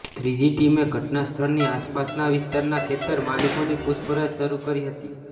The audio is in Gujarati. ત્રીજી ટીમે ઘટના સ્થળની આસપાસના વિસ્તારના ખેતર માલીકોની પુછપરછ શરૃ કરી હતી